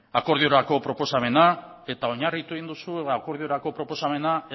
akordiorako proposamena eta oinarritu egin duzu akordiorako proposamena